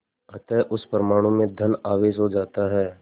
अतः उस परमाणु में धन आवेश हो जाता है